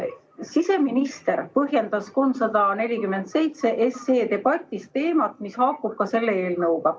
Siseminister puudutas eelnõu 347 debatis teemat, mis haakub ka selle eelnõuga.